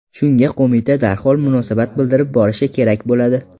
Shunga qo‘mita darhol munosabat bildirib borishi kerak bo‘ladi.